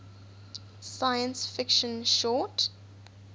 science fiction short